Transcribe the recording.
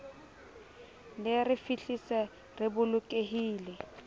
le re fihlise re bolokehile